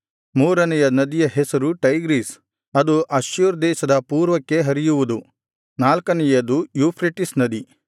ಮೂರನೆಯ ನದಿಯ ಹೆಸರು ಟೈಗ್ರೀಸ್ ಅದು ಅಶ್ಶೂರ್ ದೇಶದ ಪೂರ್ವಕ್ಕೆ ಹರಿಯುವುದು ನಾಲ್ಕನೆಯದು ಯೂಫ್ರೆಟಿಸ್ ನದಿ